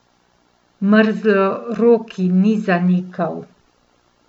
Mrzloroki ni zanikal.